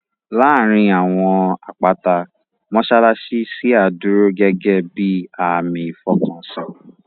Láàárín àwọn àpáta, mọ́ṣáláṣí ṣíà dúró gẹ́gẹ́ bíi àmì ìfọkànsìn